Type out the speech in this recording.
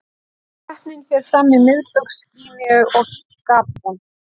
Keppnin fer fram í Miðbaugs Gíneu og Gabon.